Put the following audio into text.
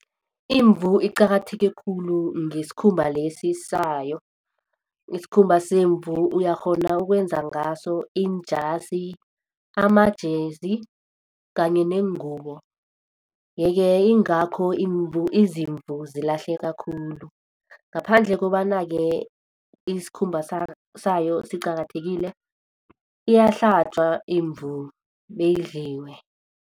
Imvu iqakatheke khulu ngesikhumba lesi sayo isikhumba semvu uyakghona ukwenza ngaso iinjasi, amajezi kanye neengubo yeke ingakho izimvu zilahleka khulu ngaphandle kobana ke isikhumba sayo siqakathekile iyahlatjwa imvu beyidliwe.